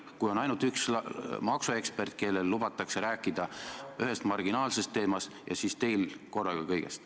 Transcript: Kutsutud on ainult üks maksuekspert, kellel lubati rääkida ühest marginaalsest teemast, ja siis teil korraga kõigest.